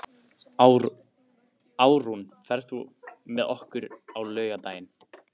Árún, ferð þú með okkur á laugardaginn?